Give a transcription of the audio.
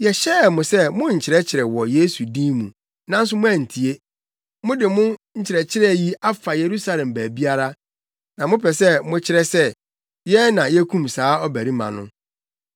“Yɛhyɛɛ mo sɛ monnkyerɛkyerɛ wɔ Yesu din mu, nanso moantie. Mode mo nkyerɛkyerɛ yi afa Yerusalem baabiara, na mopɛ sɛ mokyerɛ sɛ, yɛn na yekum saa ɔbarima no!”